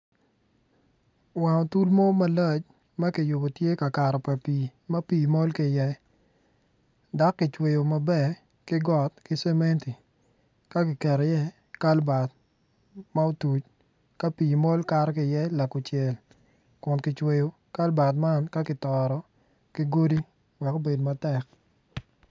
Wang otul mo malac tye kiyubo tye ka kato pa pii ma pii mol ki iye dok kicweyo maber ki got ki cementi ka giketo iye kalbat ma otuc ka pii mol kato ki iye lakucel kun kicweyo kalbat man ka kitoro ki godi wek obed matek.